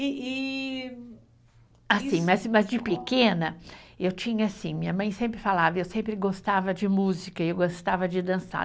E e. Assim, mas de pequena, eu tinha assim, minha mãe sempre falava, eu sempre gostava de música, eu gostava de dançar.